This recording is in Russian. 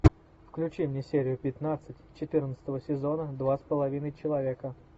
включи мне серию пятнадцать четырнадцатого сезона два с половиной человека